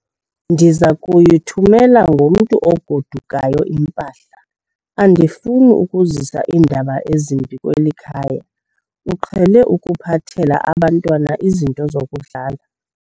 Ndiza kuyithumela ngomntu ogodukayo impahla. andifuni ukuzisa iindaba ezimbi kweli khaya, uqhele ukuphathela abantwana izinto zokudlala